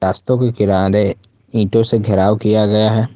अस्तो के किनारे ईंटो से घेराव किया गया हैं।